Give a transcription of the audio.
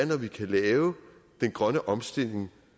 når vi kan lave den grønne omstilling